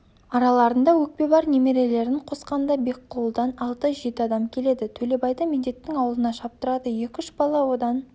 араларында өкпе бар немерелерін қосқанда бекқұлыдан алты-жеті адам келеді төлебайды медеттің аулына шаптырады екі-үш бала одан